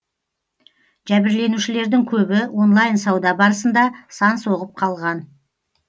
жәбірленушілердің көбі онлайн сауда барысында сан соғып қалған